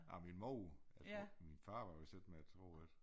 Ja min mor jeg tror min far var vist ikke med tror jeg